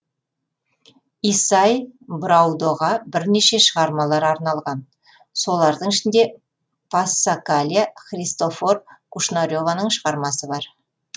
исай браудоға бірнеше шығармалар арналған солардың ішінде пассакалия христофор кушнареваның шығармасы бар